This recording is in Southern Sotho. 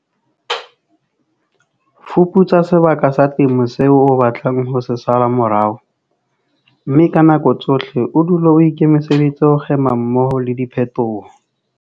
Fuputsa sebaka sa temo seo o batlang ho se sala morao, mme ka nako tsohle o dule o ikemiseditse ho kgema mmoho le diphetoho.